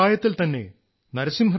ചെറു പ്രായത്തിൽത്തന്നെ ശ്രീ